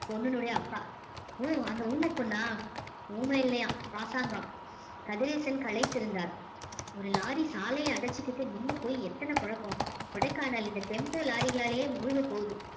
பொண்ணுனுடைய அப்பா ஓ அந்த ஊமைப் பொண்ணா ஊமை இல்லையாம் பாசாங்கம் கதிரேசன் கலைத்திருந்தார் ஒரு lorry சாலையை அடைச்சுக்கிட்டு நின்னு போய் எத்தன குழப்பம் கொடைக்கானல் இந்த tempo lorry களாலயே மூழ்கப் போகுது